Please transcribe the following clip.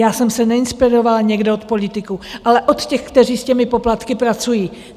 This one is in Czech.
Já jsem se neinspirovala někde od politiků, ale od těch, kteří s těmi poplatky pracují.